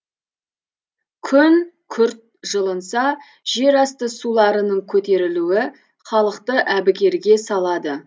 күн күрт жылынса жерасты суларының көтерілуі халықты әбігерге салады